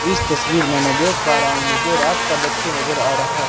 इस तस्वीर में मैं देख पा रहा हूं मुझे रात का दृश्य नजर आ रहा है।